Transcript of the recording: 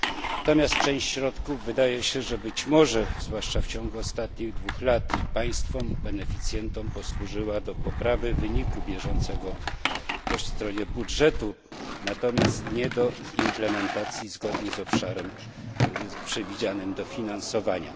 Natomiast część środków wydaje się, że być może, zwłaszcza w ciągu ostatnich dwu lat, państwom beneficjentom posłużyła do poprawy wyniku bieżącego po stronie budżetu, natomiast nie do implementacji zgodnie z obszarem przewidzianym do finansowania.